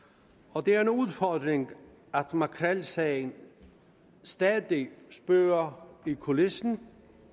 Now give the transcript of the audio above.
og det er en udfordring at makrelsagen stadig spøger i kulissen